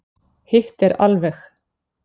Hitt er alveg.